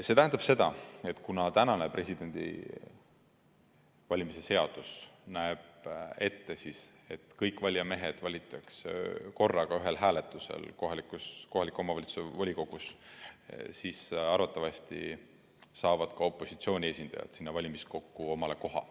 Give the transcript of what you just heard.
See tähendab seda, et kuna praegune Vabariigi Presidendi valimise seadus näeb ette, et kõik valijamehed valitakse korraga ühel hääletusel kohaliku omavalitsuse volikogus, siis arvatavasti saavad ka opositsiooni esindajad sinna valimiskokku omale koha.